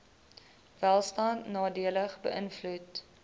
welstand nadelig beïnvloed